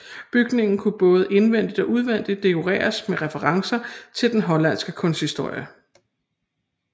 Bygningen skulle både indvendigt og udvendigt dekoreres med referencer til den hollandske kunsthistorie